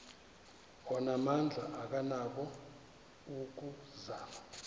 onamandla akanako ukuzama